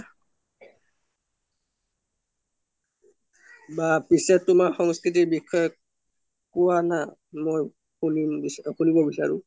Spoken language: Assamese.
বা পিছে তুমাৰ সন্স্ক্ৰিতি বিসযে কুৱা না মই সুনিব বিসাৰু